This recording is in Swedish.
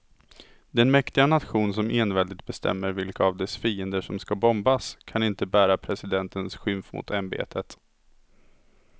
Den mäktiga nation som enväldigt bestämmer vilka av dess fiender som ska bombas kan inte bära presidentens skymf mot ämbetet.